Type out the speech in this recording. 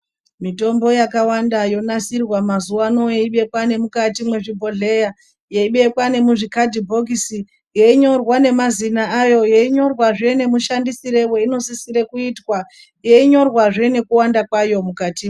Mitombo yakawanda yonasirwa mazuva ano yeibekwa nemukati mwezvibhodhleya, yeibekwa nemuzvikhadhibhokisi, yeinyorwa nemazina ayo, yeinyorwazve nemushandisire weinosisire kuitwa, yeinyorwazve nekuwanda kwayo mukati...